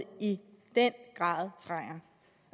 i den grad trænger